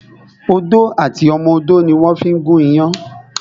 Odó àti ọmọ odó ni wón fí ń gún iyán